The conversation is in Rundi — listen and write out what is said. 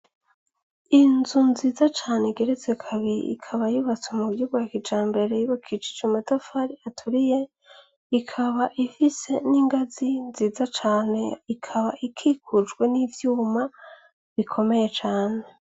Inzu nziza cane igeretse kabiri ikaba yubatswe muburyo bwa kijambere yubakishijwe amatafari aturiye, ikaba ifise n'inganzi nziza cane, ikaba ikikujwe n'ivyuma bikomeye cane.